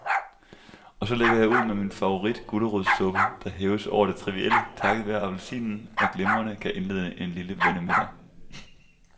Og så lægger jeg ud med min favoritgulerodssuppe, der hæves over det trivielle takket være appelsinen og glimrende kan indlede en lille vennemiddag.